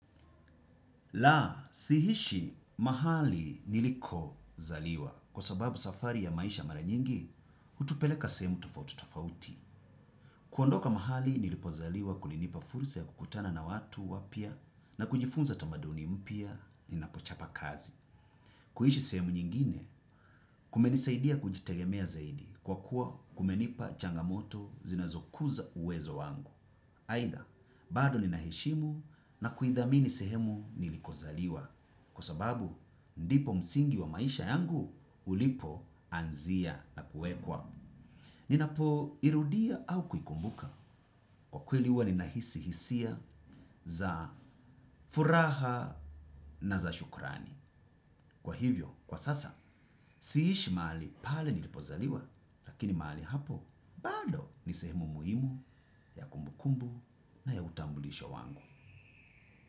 La, siishi mahali niliko zaliwa. Kwa sababu safari ya maisha mara nyingi, hutupeleka sehemu tofauti tofauti. Kuondoka mahali nilipo zaliwa kulinipa fursa ya kukutana na watu wapya na kujifunza tamaduni mpya ninapochapa kazi. Kuishi sehemu nyingine, kumenisaidia kujitegemea zaidi kwa kuwa kumenipa changamoto zinazokuza uwezo wangu. Aidha, bado ninaheshimu na kuidhamini sehemu niliko zaliwa, kwa sababu ndipo msingi wa maisha yangu ulipo anzia na kuwekwa. Ninapo irudia au kuikumbuka kwa kweli huwa ninahisi hisia za furaha na za shukrani. Kwa hivyo, kwa sasa, siishi mahali pale nilipozaliwa, lakini mahali hapo, bado nisehemu muhimu, ya kumbukumbu na ya utambulisho wangu.